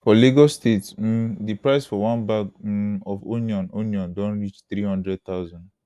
for lagos state um di price for one bag um of onion onion don reach around 300000